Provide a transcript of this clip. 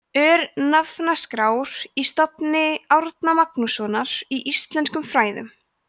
örnefnaskrár í safni stofnunar árna magnússonar í íslenskum fræðum